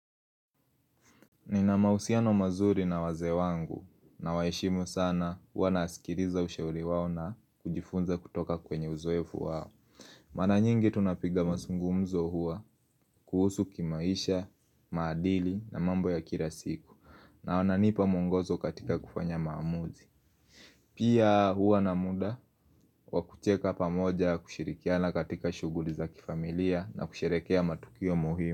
Nina mahusiano mazuri na wazee wangu na waheshimu sana hua nasikiriza ushauri wao na kujifunza kutoka kwenye uzoefu wao Mara nyingi tunapiga masungumzo hua kuhusu kimaisha, maadili na mambo ya Kira siku na wananipa mwongozo katika kufanya maamuzi Pia hua na muda wakucheka pamoja kushirikiana katika shughuli za kifamilia na kusherekea matukio muhimu.